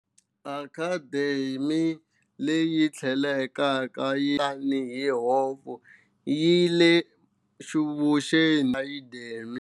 Academic Quad, leyi tlhelaka yi tiviwa tani hi Hoff Quad, yi le vuxeni bya Academic Mall.